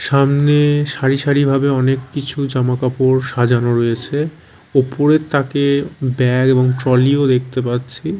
সামনে সারি সারি ভাবে অনেক কিছু জামাকাপড় সাজানো রয়েছে ওপরের তাকে ব্যাগ এবং ট্রলি -ও দেখতে পাচ্ছি।